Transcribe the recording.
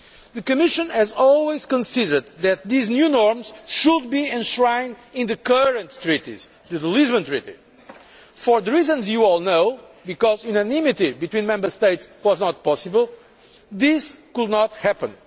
The Commission has always considered that these new norms should be enshrined in the current treaties, in the Lisbon Treaty. For the reasons you all know, because unanimity between all Member States was not possible, that could not happen.